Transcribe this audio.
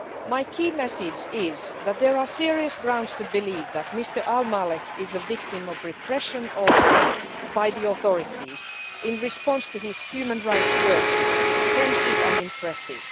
My key message is that there are serious grounds to believe that Mr Al Maleh is a victim of repression by the authorities in response to his human rights work, which is extensive and impressive.